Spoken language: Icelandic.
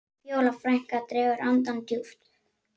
Fjóla frænka dregur andann djúpt.